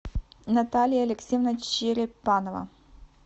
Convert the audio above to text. наталья алексеевна черепанова